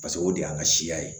Paseke o de y'an ka siya ye